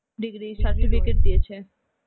degree certificate দিয়েছে.